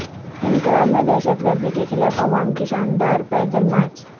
Ankara میں دہشت گردی کے خلاف عوام کی شاندار پیدل مارچ